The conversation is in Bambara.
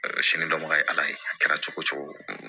sini dɔnbaga ye ala ye a kɛra cogo o cogo